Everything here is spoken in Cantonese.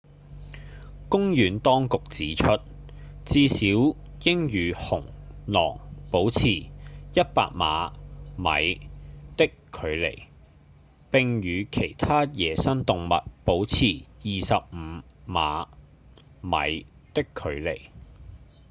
公園當局指出至少應與熊、狼保持100碼/米的距離並與其他野生動物保持25碼/米的距離